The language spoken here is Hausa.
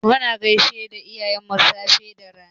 Muna gaisar da iyayenmu safe da rana.